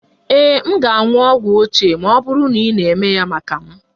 Ee, m ga-aṅụ ogwu ochie ma ọ bụrụ na ị na-eme ya maka m